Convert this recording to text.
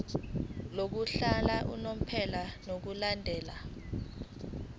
lokuhlala unomphela ngokulandela